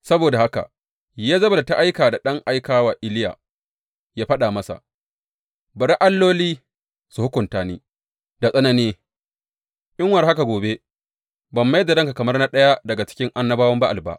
Saboda haka Yezebel ta aika da ɗan aika wa Iliya yă faɗa masa, Bari alloli su hukunta ni da tsanani, in war haka gobe ban mai da ranka kamar na ɗaya daga cikin annabawan Ba’al ba.